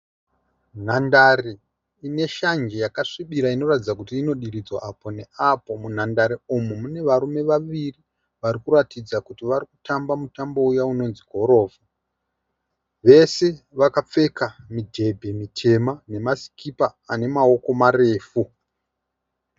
Nhandare ine shanje yakasvibira inoratidza kuti inodiridzwa apo neapo. Munhandare umu mune varume vaviri vari kuratidza kuti vari kutamba mutambo uya unonzi gorofo. Vese vakapfeka midhebhe mitema nema sikipa ane maoko marefu.